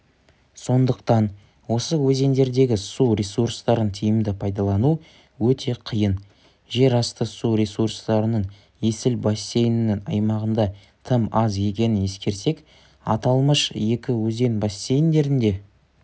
сондықтан осы өзендердегі су ресурстарын тиімді пайдалану өте қиын жерасты су ресурстарының есіл бассейнінің аймағында тым аз екенін ескерсек аталмыш екі өзен бассейндерінде